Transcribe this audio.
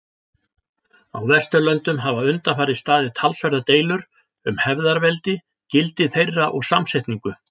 Á Vesturlöndum hafa undanfarið staðið talsverðar deilur um hefðarveldi, gildi þeirra og samsetningu.